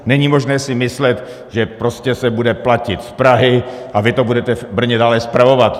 Není možné si myslet, že prostě se bude platit z Prahy a vy to budete v Brně dále spravovat.